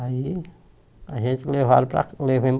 Aí a gente levaram para levemos